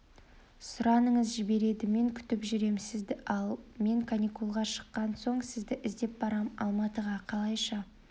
сұраныңыз жібереді мен күтіп жүрем сізді ал мен каникулға шыққан соң сізді іздеп барам алматыға қалайша